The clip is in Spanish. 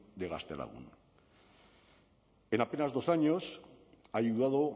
de gaztelagun en apenas dos años ha ayudado